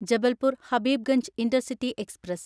Jabalpur Habibganj intercity express